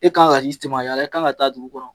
E k'an ka i i k'an ka taa dugu kɔnɔ.